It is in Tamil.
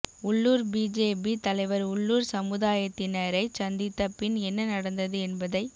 உள்ளூர் பி ஜே பி தலைவர் உள்ளூர் சமுதாயத்தினரைச் சந்தித்த பின் என்ன நடந்தது என்பதைப்